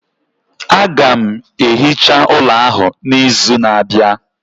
Aga m ehicha ụlọ ahụ n'izu na-abịa